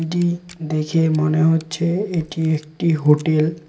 এটি দেখে মনে হচ্ছে এটি একটি হোটেল ।